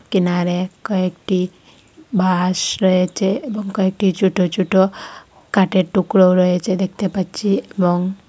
কেনারে কয়েকটি বাঁশ রয়েচে এবং কয়েকটি চোট চোট কটের টুকরোও রয়েচে দেখতে পাচ্চি এবং--